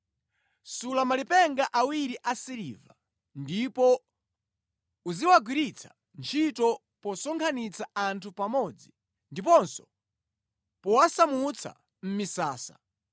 “Sula malipenga awiri a siliva, ndipo uziwagwiritsa ntchito posonkhanitsa anthu pamodzi ndiponso powasamutsa mʼmisasa.